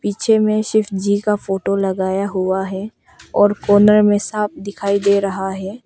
पीछे में शिव जी का फोटो लगाया हुआ है और कोने में साँप दिखाई दे रहा है।